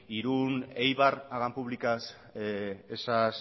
irun eibar hagan públicas esas